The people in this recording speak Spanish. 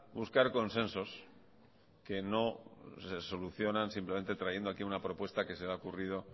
buscar consensos que no solucionan simplemente trayendo aquí una propuesta que se le ha ocurrido